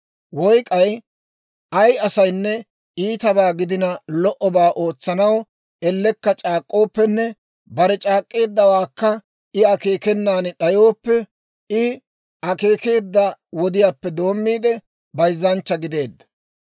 « ‹Woy k'ay ay asaynne iitabaa gidina lo"obaa ootsanaw ellekka c'aak'k'ooppenne bare c'aak'k'eeddawaakka I akeekenan d'ayooppe, I akeekeedda wodiyaappe doomiide bayzzanchcha gideedda.